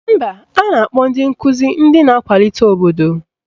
Mba, a na-akpọ ndị nkụzi ndị na-akwalite obodo